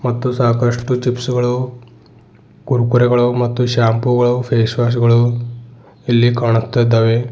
ಮತ್ತು ಸಾಕಷ್ಟು ಚಿಪ್ಸ್ ಗಳು ಕುರ್ಕುರೆ ಗಳು ಮತ್ತು ಶ್ಯಾಂಪು ಗಳು ಫೇಸ್ ವಾಶ್ ಗಳು ಇಲ್ಲಿ ಕಾಣುತ್ತಿದ್ದಾವೆ.